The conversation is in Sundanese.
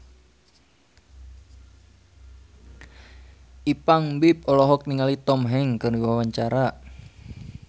Ipank BIP olohok ningali Tom Hanks keur diwawancara